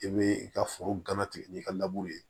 I bɛ i ka foro ganatigɛ n'i ka ye